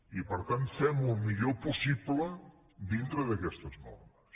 i per tant fem ho el millor possible dintre d’aquestes normes